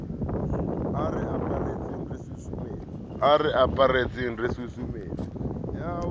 a re aparetseng re susumetswa